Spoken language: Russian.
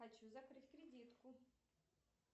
хочу закрыть кредитку